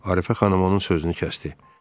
Arifə xanım onun sözünü kəsdi.